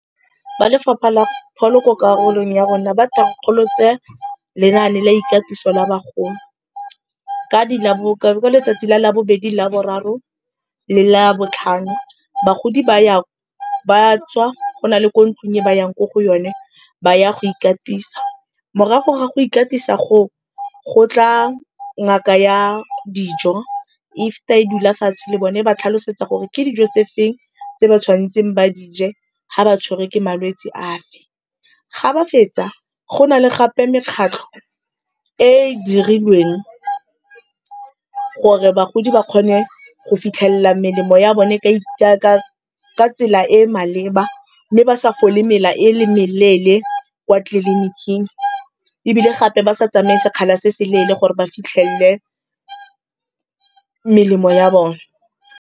Ba Lefapha la Pholo ko karolong ya rona ba thankgolotse lenane la ikatiso la bagolo, ka letsatsi la labobedi, laboraro le labotlhano bagodi ba tswa go na le ko ntlong e ba yang ko go yone, ba ya go ikatisa. Morago ga go ikatisa go o, go tla ngaka ya dijo e feta e dula fatshe le bone e ba tlhalosetsa gore ke dijo tse feng tse ba tshwan'tseng ba di je ga ba tshwarwe ke malwetse a fe. Ga ba fetsa, go na le gape mekgatlho e e dirilweng gore bagodi ba kgone go fitlhelela melemo ya bone ka tsela e maleba mme ba sa fole mela e le meleele kwa tleliniking ebile gape ba sa tsamaye sekgala se se leele gore ba fitlhele melemo ya bone.